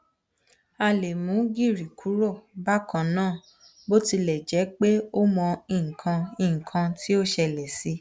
a lè mú gìrì kúrò bákan náà bó tilẹ̀ jẹ́ pé ó mọ nǹkan nnǹan tií ó ṣẹlẹ̀ sí i